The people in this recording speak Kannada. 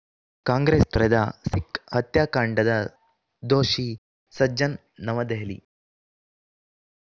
ಕಾಂಗ್ರೆಸ್‌ ತೊರೆದ ಸಿಖ್‌ ಹತ್ಯಾಕಾಂಡದ ದೋಷಿ ಸಜ್ಜನ್‌ ನವದೆಹಲಿ